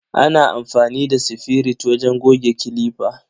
Ana amfani da sifirit wajen goge clipper.